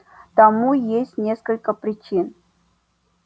тому есть несколько причин